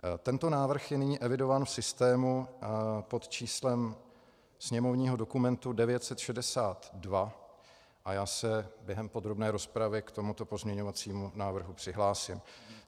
Tento návrh je nyní evidován v systému pod číslem sněmovního dokumentu 962 a já se během podrobné rozpravy k tomuto pozměňovacímu návrhu přihlásím.